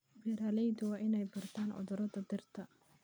Beeraleydu waa inay bartaan cudurrada dhirta.